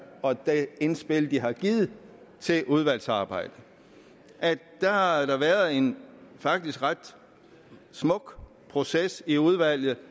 og det indspil de har givet til udvalgsarbejdet har der været en faktisk ret smuk proces i udvalget